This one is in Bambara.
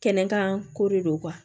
Kɛnɛ kan ko de don kuwa